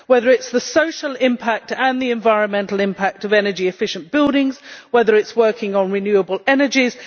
Whether it is the social impact and the environmental impact of energy efficient buildings, or whether it is working on renewable energies.